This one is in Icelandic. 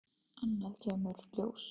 Annað kemur ljós